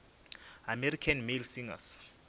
american male singers